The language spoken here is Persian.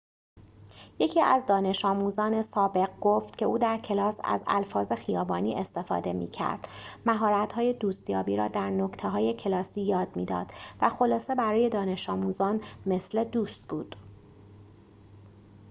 یکی از دانش‌آموزان سابق گفت که او در کلاس از الفاظ خیابانی استفاده می‌کرد مهارت‌های دوست‌یابی را در نکته‌های کلاسی یاد می‌داد و خلاصه برای دانش‌آموزان مثل دوست بود